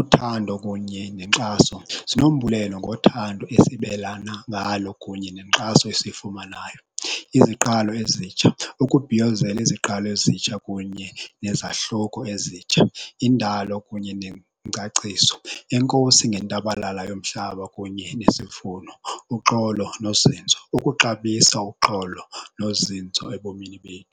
Uthando kunye nenkxaso, sinombulelo ngothando esibelana ngalo kunye nenkxaso esiyifumanayo. Iziqalo ezitsha, ukubhiyozela iziqalo ezitsha kunye nezahluko ezitsha. Indalo kunye nengcaciso, enkosi ngentabalala yomhlaba kunye nesivuno. Uxolo nozinzo, ukuxabisa uxolo nozinzo ebomini bethu